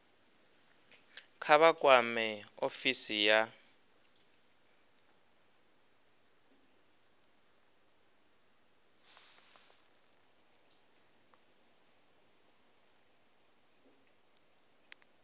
kha vha kwame ofisi ya